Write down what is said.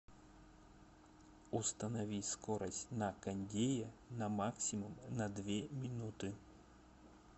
установи скорость на кондее на максимум на две минуты